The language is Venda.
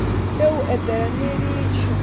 ye u eḓela ni litshe